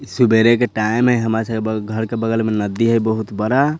इ सवेरे के टाइम हेय हमर सबके घर के बगल मे नदी है बहुत बड़ा।